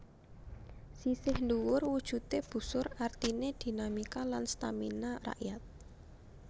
Sisih dhuwur wujudé busur artiné dinamika lan stamina rakyat